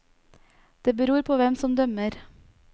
Det beror på hvem som dømmer.